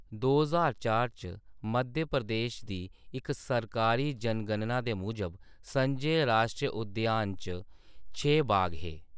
दो ज्हार चार च मध्य प्रदेश दी इक सरकारी जनगणना दे मूजब, संजय राश्ट्री उद्यान च छे बाघ हे।